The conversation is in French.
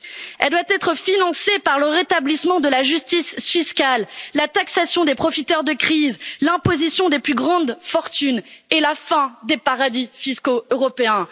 Elle doit être financée par le rétablissement de la justice fiscale, la taxation des profiteurs de crise, l'imposition des plus grandes fortunes et la fin des paradis fiscaux européens.